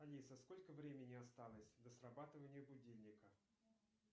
алиса сколько времени осталось до срабатывания будильника